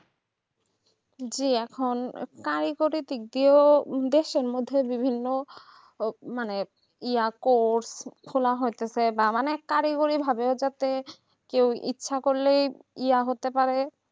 যে এখন কারিগরি দিক থেকে দেশের মধ্যে বিভিন্ন ওই মানে ইয়াকো খোলা হচ্ছে বাবা অনেক কারিগরি ভাবে কেউ ইচ্ছা করলেই ইয়া হতে পারবে